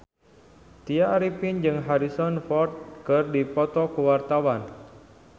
Tya Arifin jeung Harrison Ford keur dipoto ku wartawan